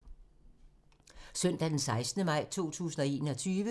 Søndag d. 16. maj 2021